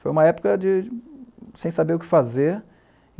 Foi uma época de... sem saber o que fazer.